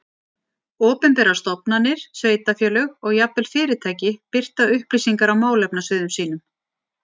Opinberar stofnanir, sveitarfélög og jafnvel fyrirtæki birta upplýsingar á málefnasviðum sínum.